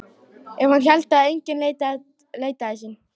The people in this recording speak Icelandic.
Ef hann héldi að enginn leitaði sín.